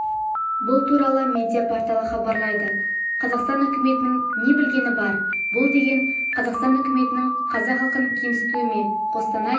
бұл туралы медиа-порталы хабарлайды қазақстан үкіметінің неббілгені бар бұл деген қазақстан үкіметінің қазақ халқын кемсітуме қостанай